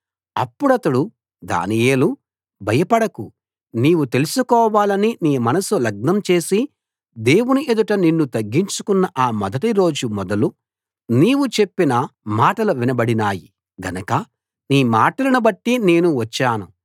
అప్పుడతడు దానియేలూ భయపడకు నీవు తెలుసుకోవాలని నీ మనస్సు లగ్నం చేసి దేవుని ఎదుట నిన్ను తగ్గించుకున్న ఆ మొదటి రోజు మొదలు నీవు చెప్పిన మాటలు వినబడినాయి గనక నీ మాటలను బట్టి నేను వచ్చాను